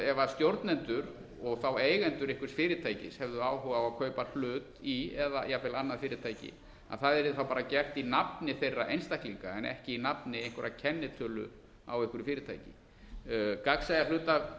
ef stjórnendur og þá eigendur einhvers fyrirtækis hefðu áhuga á að kaupa hlut í eða jafnvel annað fyrirtæki að það yrði þá bara gert í nafni þeirra einstaklinga en ekki í nafni einhverrar kennitölu á einhverju fyrirtæki gagnsæja